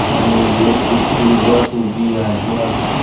आणि एक school bus उभी आहे आता.